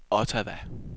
Ottawa